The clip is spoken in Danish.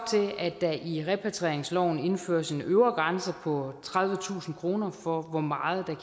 at der i repatrieringsloven indføres en øvre grænse på tredivetusind kroner for hvor meget der